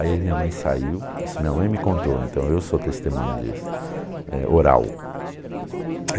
Aí minha mãe saiu, isso minha mãe me contou, então eu sou testemunho disso, é oral.